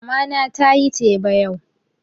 Mama na tayi teba yau